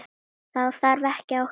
Þá þarf ekkert að óttast.